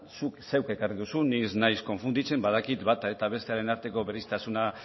zuk zeuk ekarri duzu ni ez naiz konfunditzen badakit bata eta bestearen arteko berezitasuna